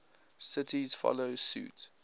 cities follow suit